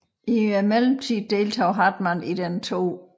I mellemtiden deltog Hartmann i den 2